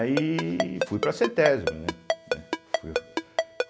Aí fui para a cêtésbe, né? né fui fo